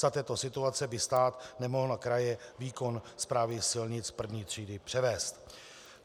Za této situace by stát nemohl na kraje výkon správy silnic první třídy převést.